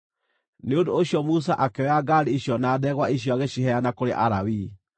Nĩ ũndũ ũcio Musa akĩoya ngaari icio na ndegwa icio agĩciheana kũrĩ Alawii.